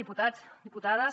diputats diputades